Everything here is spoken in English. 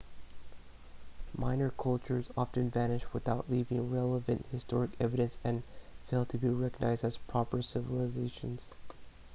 minor cultures often vanish without leaving relevant historic evidence and fail to be recognized as proper civilizations